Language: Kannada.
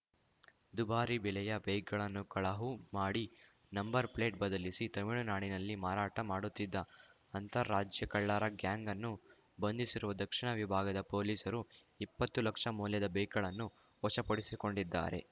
ದುಬಾರಿ ಬೆಲೆಯ ಬೈಕ್‌ಗಳನ್ನು ಕಳಹು ಮಾಡಿ ನಂಬರ್ ಪ್ಲೇಟ್ ಬದಲಿಸಿ ತಮಿಳುನಾಡಿನಲ್ಲಿ ಮಾರಾಟ ಮಾಡುತ್ತಿದ್ದ ಅಂತರರಾಜ್ಯ ಕಳ್ಳರ ಗ್ಯಾಂಗ್‌ನ್ನು ಬಂಧಿಸಿರುವ ದಕ್ಷಿಣ ವಿಭಾಗದ ಪೊಲೀಸರು ಇಪ್ಪತ್ತು ಲಕ್ಷ ಮೌಲ್ಯದ ಬೈಕ್‌ಗಳನ್ನು ವಶಪಡಿಸಿಕೊಂಡಿದ್ದಾರೆ